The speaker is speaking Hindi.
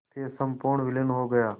फिर संपूर्ण विलीन हो गया